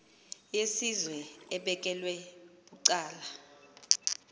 yesizwe ebekelwe bucala